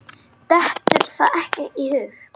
Dettur það ekki í hug.